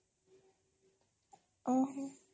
ଓହୋ